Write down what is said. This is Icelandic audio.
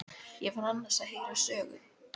Ég var annars að heyra sögu.